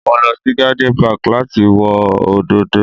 Mo lọ sí garden park láti wo òdòdó